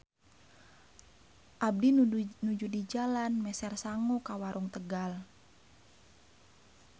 Abdi nuju di jalan meser sangu ka warung Tegal.